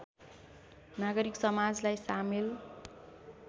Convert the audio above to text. नागरिक समाजलाई सामेल